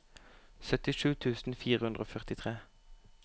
syttisju tusen fire hundre og førtitre